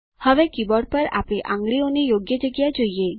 હવે કીબોર્ડ પર આપણી આંગળીઓની યોગ્ય જગ્યા જોઈએ